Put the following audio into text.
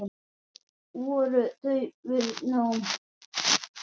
Þar voru þau við nám.